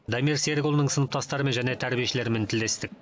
дамир серікұлының сыныптастарымен және тәрибешілермен тілдестік